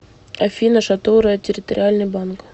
афина шатура территориальный банк